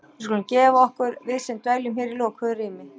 Við skulum gefa okkur- við sem dveljum hér í lokuðu rými